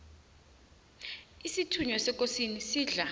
isithunywa sekosini sidla